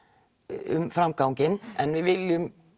um framganginn en við viljum